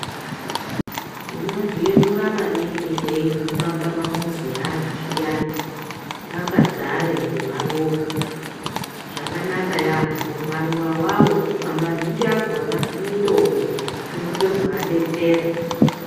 Tinozvi yemura maningi tei guma pama muzi e vantu zviya paka dzare nge maruva zvakanaka yambo maruva awawo mazhinji akona mitombo unozoto vadetsere.